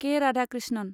के. Radhakrishnan